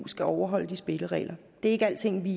skal overholde de spilleregler det er ikke alting vi